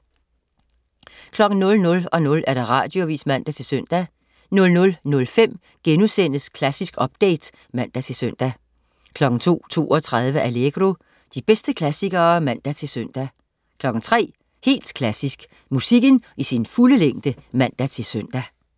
00.00 Radioavis (man-søn) 00.05 Klassisk update* (man-søn) 02.32 Allegro. De bedste klassikere (man-søn) 03.00 Helt Klassisk. Musikken i sin fulde længde (man-søn)